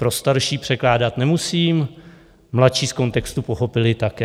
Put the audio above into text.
Pro starší překládat nemusím, mladší z kontextu pochopili také.